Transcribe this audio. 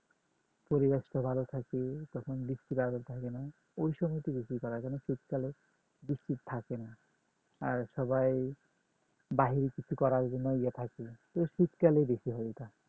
পরিবেশটা ভালো থাকে যখন বৃষ্টি বাদলা থাকে না ওই সময় তে শীতকালে থাকে না আর সবাই বাহির থেকে তো শীতকালে বেশি হয় এটা